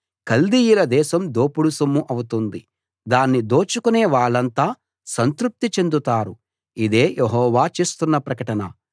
కల్దీయుల దేశం దోపుడు సొమ్ము అవుతుంది దాన్ని దోచుకునే వాళ్ళంతా సంతృప్తి చెందుతారు ఇదే యెహోవా చేస్తున్న ప్రకటన